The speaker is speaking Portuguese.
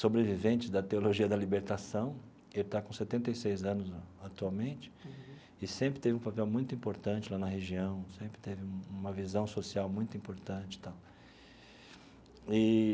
sobrevivente da Teologia da Libertação, ele está com setenta e seis anos atualmente, e sempre teve um papel muito importante lá na região, sempre teve uma visão social muito importante tal eee.